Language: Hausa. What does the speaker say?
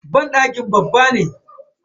Banɗaki babba ne.